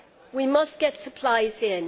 We must get supplies in.